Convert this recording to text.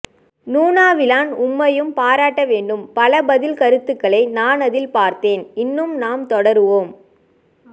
நுநாவிலான் உம்மையும் பராட்டவேண்டும் பல பதில் கருத்துக்களை நான் அதில் பார்த்தேன் இன்னும் நாம் தொடருவோம்